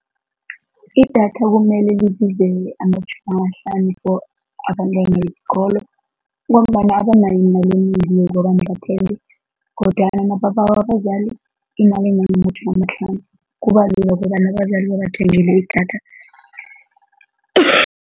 Idatha kumele libize amatjhumi amahlanu for abantwana besikolo ngombana abanayo imali enengi yokobana bathenge kodwana nababawa abazali imali engangamatjhumi amahlanu, kuba lula bona idatha.